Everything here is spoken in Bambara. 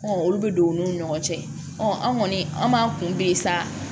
olu bɛ don u n'u ni ɲɔgɔn cɛ an kɔni an b'an kunbɛn sa